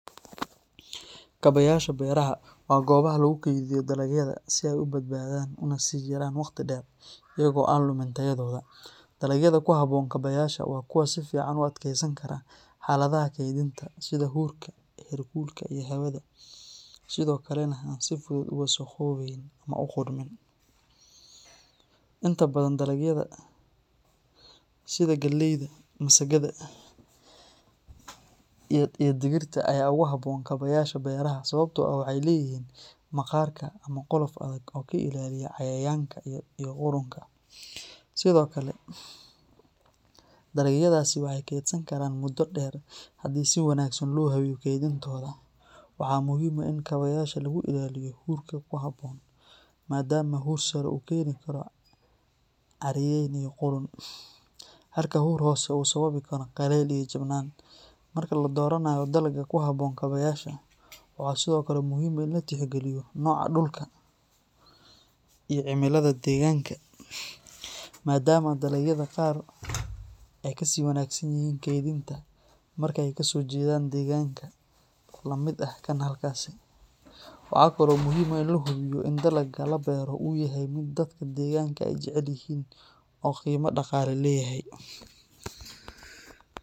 Dalagee ayaa loogu talagalay in ay ku habboon yihiin kabaayaasha beeraha? Kabaayaasha beeraha waa goobaha lagu kaydiyo dalagyada si ay u badbaadaan una sii jiraan waqti dheer iyaga oo aan lumin tayadooda. Dalagyada ku habboon kabaayaasha waa kuwa si fiican u adkeysan kara xaaladaha kaydinta sida huurka, heerkulka, iyo hawada, sidoo kalena aan si fudud u wasakhoobayn ama u qudhmin. Inta badan, dalagyada sida galleyda, masagada, iyo digirta ayaa aad ugu habboon kabaayaasha beeraha sababtoo ah waxay leeyihiin maqaarka ama qolof adag oo ka ilaaliya cayayaanka iyo qudhunka. Sidoo kale, dalagyadaasi waxay kaydsan karaan muddo dheer haddii si wanaagsan loo habeeyo kaydintooda. Waxaa muhiim ah in kabaayaasha lagu ilaaliyo huurka ku habboon, maadaama huur sare uu keeni karo caariyayn iyo qudhun, halka huur hoose uu sababi karo qalayl iyo jabnaan. Marka la dooranayo dalagga ku habboon kabaayaasha, waxaa sidoo kale muhiim ah in la tixgeliyo nooca dhulka iyo cimilada deegaanka, maadaama dalagyada qaar ay ka sii wanaagsan yihiin kaydinta marka ay kasoo jeedaan deegaan la mid ah kan halkaasi. Waxaa kale oo muhiim ah in la hubiyo in dalagga la beero uu yahay mid dadka deegaanka ay jecel yihiin oo qiimo dhaqaale leeyahay.